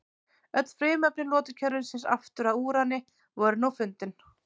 Öll frumefni lotukerfisins aftur að úrani voru nú fundin.